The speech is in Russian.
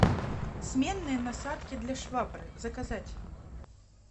сменные насадки для швабры заказать